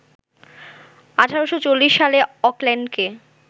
১৮৪০ সালে অকল্যান্ডকে